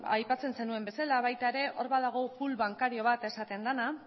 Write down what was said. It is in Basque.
aipatzen zenuen bezala baita ere hor badago pool bankario bat esaten dena